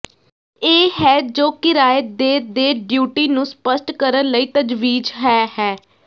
ਇਹ ਹੈ ਜੋ ਕਿਰਾਏ ਦੇ ਦੇ ਡਿਊਟੀ ਨੂੰ ਸਪੱਸ਼ਟ ਕਰਨ ਲਈ ਤਜਵੀਜ਼ ਹੈ ਹੈ